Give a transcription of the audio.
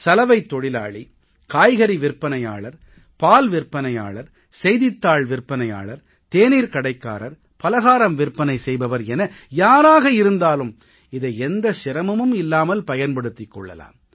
சலவைத் தொழிலாளி காய்கறி விற்பனையாளர் பால் விற்பனையாளர் செய்தித்தாள் விற்பனையாளர் தேநீர்க்கடைக்காரர் பலகாரம் விற்பனை செய்பவர் என யாராக இருந்தாலும் இதை எந்தச் சிரமமும் இல்லாமல் பயன்படுத்திக் கொள்ளலாம்